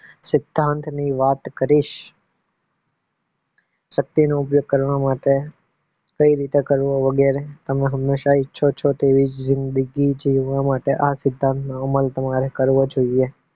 સિદ્ધાંતની વાત કરીશ શક્તિનો ઉપયોગ કરવા માટે કઈ રીતે કરવો વગેરે આ હમેશા ઈચ્છો છો તો તેવી જિંદગી જીવવા માટે આ સિદ્ધાંતનો અમલ તમારે કરવો જોઈએ